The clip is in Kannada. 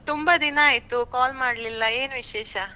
ತುಂಬಾ ದಿನ ಆಯ್ತು call ಮಾಡ್ಲಿಲ್ಲ ಏನ್ ವಿಶೇಷ?